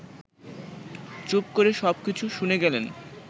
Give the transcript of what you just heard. চুপ করে সব কিছু শুনে গেলেন